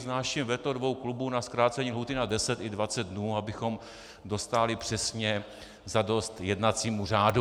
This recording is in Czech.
Vznáším veto dvou klubů na zkrácení lhůty na 10 i 20 dnů, abychom dostáli přesně za dost jednacímu řádu.